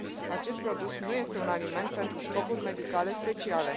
Acest produs nu este un aliment pentru scopuri medicale speciale